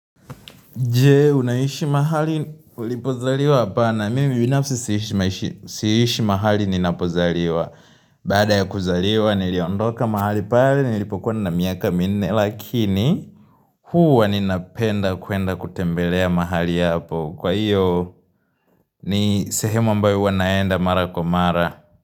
Je, unaishi mahali, ulipozaliwa hapana mimi binafsi siishi mahali ninapozaliwa. Baada ya kuzaliwa, niliondoka mahali pale, nilipokuwa na miaka minne, lakini huwa ninapenda kuenda kutembelea mahali hapo. Kwa hiyo, ni sehemu ambayo huwa naenda mara kwa mara.